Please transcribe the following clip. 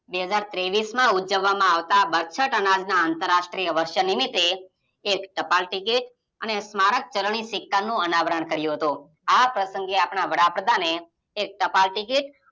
બે હાજર ત્રેવીસમાં ઉજવવામાં આવતા બરછટ અનાજ અતરાષ્ટ્રીય વર્ષ નિમિતે એક ટપાલ ટિકિટ અને સ્મારક ચરની સિક્કા નું અનાવરણ કર્યું હતું આ પ્રસંગે આપણા વડાપ્રધાને એક ટપાલ ટિકિટ